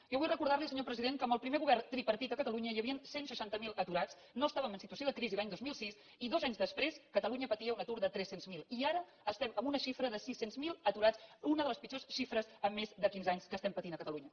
jo vull recordar li senyor president que amb el primer govern tripartit a catalunya hi havien cent i seixanta miler aturats no estàvem en situació de crisi l’any dos mil sis i dos anys després catalunya patia un atur de tres cents miler i ara estem en una xifra de sis cents miler aturats una de les pitjors xifres en més de quinze anys que estem patint a catalunya